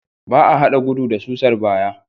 Ba a haɗa gudu da susar baya.